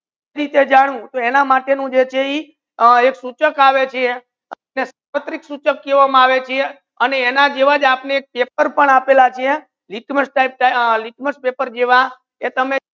એના માતે જે છે ઇ એના માતે જે છે એ એક સુચક આવે છે સુચક કહે વા મા આવે છે એના જેવા જ આપડે પેપર પણ આપેલા છે લિટમસ પેપર જેવા કે તામે